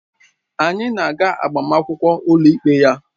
Anyị na-aga agbamakwụkwọ ụlọikpe ya